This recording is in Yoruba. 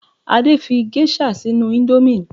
Adé fí gẹ́ṣà sínú ìndòmí